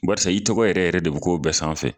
Barisa i tɔgɔ yɛrɛ yɛrɛ de k'o bɛɛ sanfɛ